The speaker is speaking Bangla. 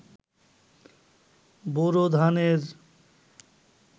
বোরো ধানের